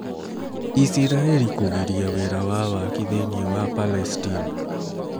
Isiraeli Kũgiria Wĩra wa Waki thĩinĩ wa Palestine